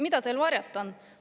Mida teil varjata on?